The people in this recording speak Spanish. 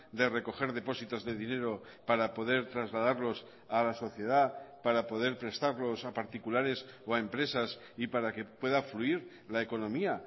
de recoger depósitos de dinero para poder trasladarlos a la sociedad para poder prestarlos a particulares o a empresas y para que pueda fluir la economía